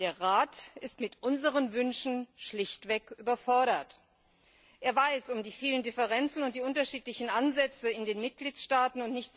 Der Rat ist mit unseren Wünschen schlichtweg überfordert. Er weiß um die vielen Differenzen und die unterschiedlichen Ansätze in den Mitgliedstaaten.